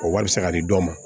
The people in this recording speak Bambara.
O wari bɛ se ka di dɔw ma